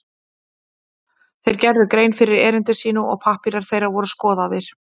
Þeir gerðu grein fyrir erindi sínu og pappírar þeirra voru skoðaðir.